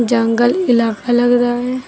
जंगल इलाका लग रहा है।